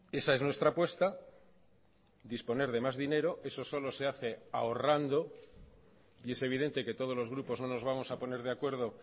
esa es nuestra apuesta disponer de más dinero eso solo se hace ahorrando y es evidente que todos los grupos no nos vamos a poner de acuerdo